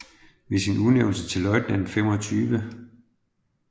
Ved sin udnævnelse til løjtnant 25